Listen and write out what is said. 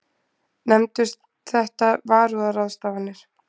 Nefndust þetta varúðarráðstafanir.